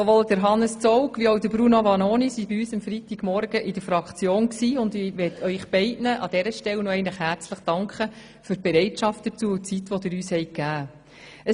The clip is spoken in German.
Sowohl Hannes Zaugg wie auch Bruno Vanoni sind am Freitagmorgen zu uns in die Fraktion gekommen, und ich möchte ihnen beiden an dieser Stelle nochmals für ihre Bereitschaft dazu und die Zeit, die sie uns gewährt haben, herzlich danken.